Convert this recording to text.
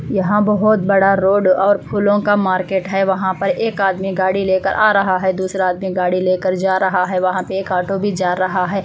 यहाँ बहोत बड़ा रोड और फूलो का मार्केट है वहाँ पर एक आदमी गाड़ी ले कर आ रहा है दूसरा आदमी गाड़ी ले कर जा रहा है वहाँ पे एक ऑटो भी जा रहा है।